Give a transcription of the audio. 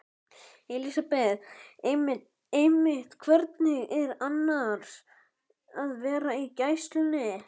Elísabet: Einmitt, hvernig er annars að vera í gæslunni?